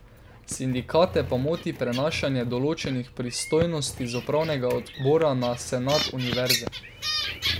Sindikate pa moti prenašanje določenih pristojnosti z upravnega odbora na senat univerze.